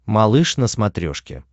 малыш на смотрешке